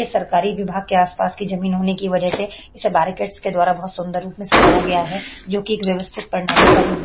ए सरकारी विभाग के आसपास की जमीन होने की वजह से इसे बैरिकेड्‌स के द्वारा बोहोत सुन्दर रूप में सजाया गया है जो कि एक व्यवस्थित पंडाली का रूप --